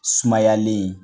Sumayalen